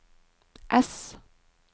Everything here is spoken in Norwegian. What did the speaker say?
ess